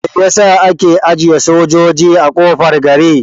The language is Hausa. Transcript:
Mai yasa ake ajiye sojoji a kofar gari?